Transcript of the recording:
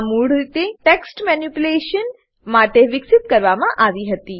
આ મૂળરીતે text manipulation text manipulation માટે વિકસિત કરવામાં આવી હતી